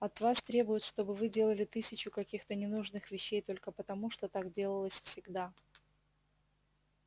от вас требуют чтобы вы делали тысячу каких-то ненужных вещей только потому что так делалось всегда